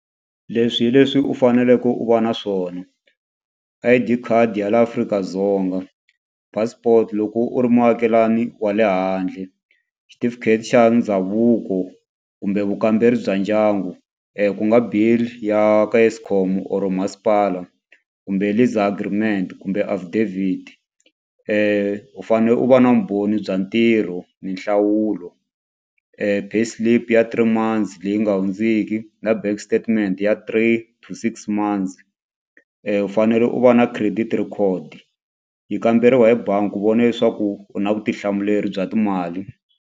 Leswi hi leswi u faneleke u va na swona, I_D khadi ya laha Afrika-Dzonga, passport loko u ri muakelani wa le handle, xitifiketi xa ndhavuko kumbe vukamberi bya ndyangu ku nga bill ya ka eskom or masipala kumbe lease agreement kumbe affidavit u fane u va na vumbhoni bya ntirho ni nhlawulo payslip ya three months leyi nga hundziki na bank statement ya three to six months u fanele u va na credit record ya kamberiwa hi bangi u vona leswaku u na vutihlamuleri bya timali.